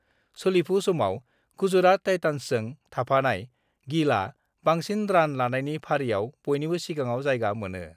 सोलिफु समाव गुजराट टाइटान्सजों थाफानाय गिलआ बांसिन रान लानायनि फारिआव बयनिबो सिगाङाव जायगा मोनो।